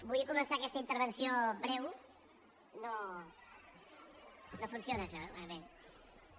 vull començar aquesta intervenció breu no funciona això bé